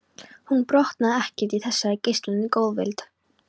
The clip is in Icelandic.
Hún botnaði ekkert í þessari geislandi góðvild.